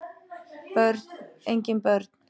Börn: engin börn